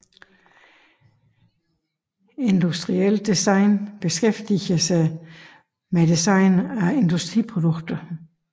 Industrielt design beskæftiger sig med design af industriprodukter